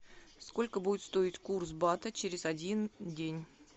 сколько будет стоить курс бата через один день